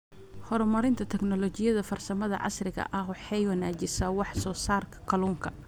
Horumarinta Tignoolajiyada Farsamada casriga ahi waxay wanaajisaa wax soo saarka kalluunka.